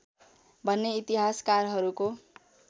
भन्ने इतिहासकारहरूको